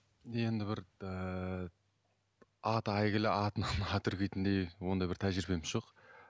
енді бір ііі аты әйгілі атынан ат үркетіндей ондай бір тәжірибем жоқ